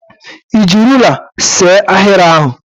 Ị ji ruler see ahịrị ahụ?